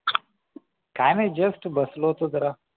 काही नाही just बसलो होतो जरा